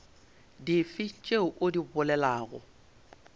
dife tšeo o di bolelago